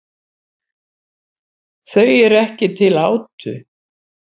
Þau eru ekki til átu.